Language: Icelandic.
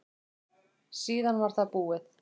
Síðan var það búið.